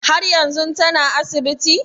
Har yanzun tana asibiti?